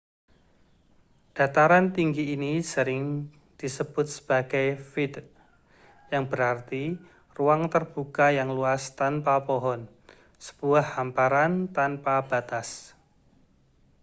dataran tinggi ini sering disebut sebagai vidde yang berarti ruang terbuka yang luas tanpa pohon sebuah hamparan tanpa batas